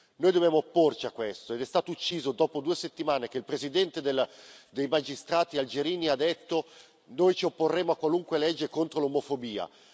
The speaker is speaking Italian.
Noi dobbiamo opporci a questo, ed è stato ucciso dopo due settimane che il presidente dei magistrati algerini aveva detto noi ci opporremo a qualunque legge contro l'omofobia.